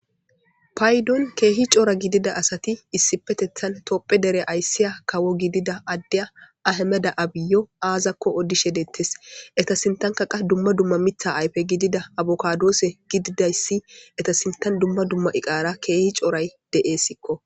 paydon keehi coora gidida asati issipetethan topphe dere ayssiya kawo gidida addeya ahemeda abiyo aazakko odishe dettes eta sintanka qa dumma dumma mitha ayfe gidida abokadoose gididayssi eta sintan dumma dumma iqaara keehi cooray de7eessikko